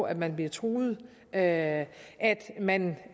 at man bliver truet at man